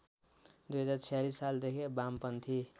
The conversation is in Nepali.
२०४६ सालदेखि वामपन्थी